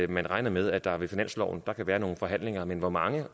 man regner med at der med finansloven kan være nogle forhandlinger men hvor mange